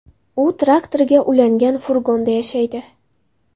U traktoriga ulangan furgonda yashaydi.